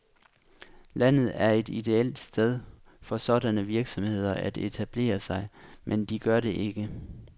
Landet er et ideelt sted for sådanne virksomheder at etablere sig, men de gør det ikke.